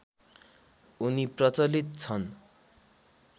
उनी प्रचलित छन्